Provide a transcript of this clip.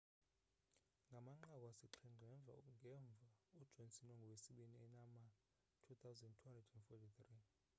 ngamanqaku asixhenxe ngemva ujohnson ungowesibini enama 2,243